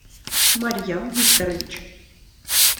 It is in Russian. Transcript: марьям викторович